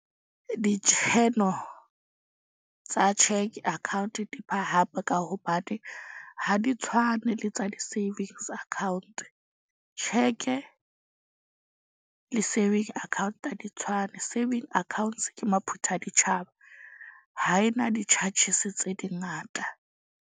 tsa cheque account di phahame ka hobane ha di tshwane le tsa di-savings account. Tjheke le saving account ha di tshwane. Saving accounts ke maphuthaditjhaba. Ha ena di-charges tse di ngata.